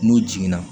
N'u jiginna